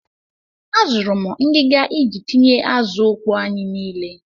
Azụrụ m ngiga iji tinye azụ ọkpọọ anyi niile.